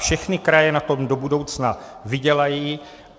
Všechny kraje na tom do budoucna vydělají.